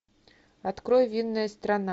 открой винная страна